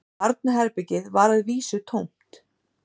Barnaherbergið var að vísu tómt